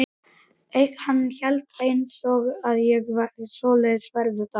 Hann veit einsog ég að svoleiðis verður það.